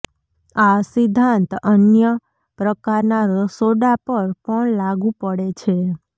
આ સિદ્ધાંત અન્ય પ્રકારના રસોડા પર પણ લાગુ પડે છે